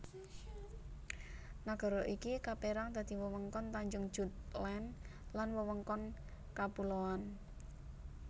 Nagara iki kapérang dadi wewengkon tanjung Jutland lan wewengkon kapuloan